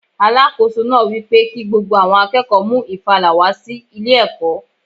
Alákóso náà wípé kí gbogbo àwọn akẹ́kọ̀ọ́ mú ìfàlà wá sí ilé ẹ̀kọ́.